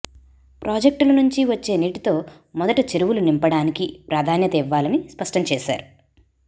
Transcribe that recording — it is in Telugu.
ప్రాజెక్టుల నుంచి వచ్చే నీటితో మొదట చెరువులు నింపడానికి ప్రాధాన్యత ఇవ్వాలని స్పష్టం చేశారు